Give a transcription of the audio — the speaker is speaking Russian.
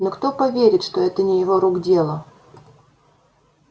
но кто поверит что это не его рук дело